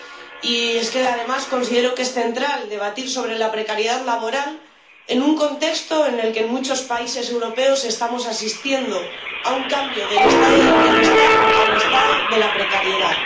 y es que además considero que es central debatir sobre la precariedad laboral, en un contexto en el que en muchos países europeos estamos asistiendo a un cambio del Estado del bienestar al Estado de la precariedad.